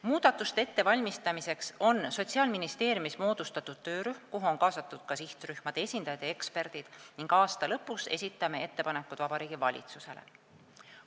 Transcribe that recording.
Muudatuste ettevalmistamiseks on Sotsiaalministeeriumis moodustatud töörühm, kuhu on kaasatud ka sihtrühmade esindajad ja eksperdid, ning aasta lõpus esitame ettepanekud Vabariigi Valitsusele.